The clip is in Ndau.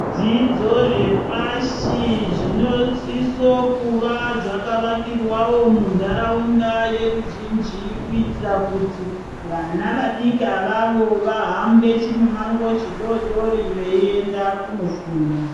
Zvidzidzo zvepashi zvinosiso kuva zvakavakirwa munharaunda yeruzhinji. Kuitira kuti vana vadiki avavo vahambe chimumango chidodori veienda kuno funda.